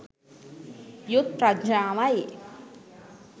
යුත් ප්‍රඥාවයි.